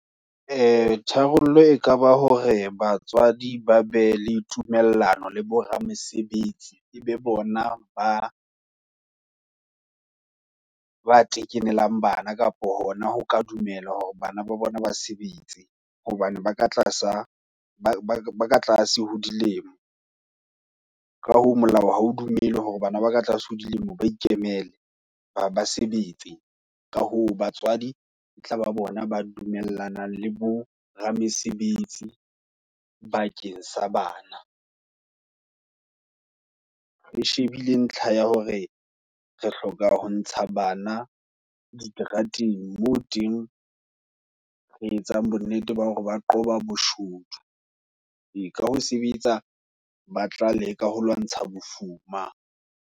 Ee tharollo, e kaba hore batswadi ba be le tumellano, le boramesebetsi. E be bona ba ba tekenelang bana, kapo hona ho ka dumela, hore bana ba bona ba sebetse, hobane ba ka tlasa, ba ba ka tlase ho dilemo, ka hoo molao, ha o dumele hore bana ba ka tlase, ho dilemo ba ikemele, ba ba sebetse. Ka hoo, batswadi e tlaba bona, ba dumellanang le bo ramesebetsi, bakeng sa bana. Re shebile ntlha ya hore, re hloka ho ntsha bana, diterateng moo teng, re etsang bonnete ba hore, ba qoba boshodu, ee ka ho sebetsa, ba tla leka ho lwantsha bofuma.